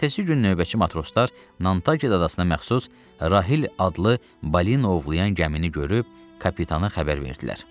Ertəsi gün növbəti matroslar Nanta adasına məxsus Rahil adlı balina ovlayan gəmini görüb, kapitanı xəbər verdilər.